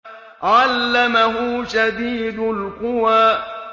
عَلَّمَهُ شَدِيدُ الْقُوَىٰ